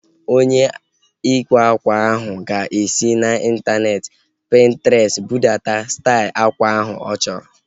Onye ịkwa ákwà ahu ga-esi n'intaneeti Pintrestị budata stail akwa ahu ọ chọrọ